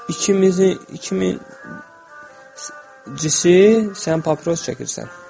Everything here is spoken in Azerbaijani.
İkincisi, sən papiros çəkirsən.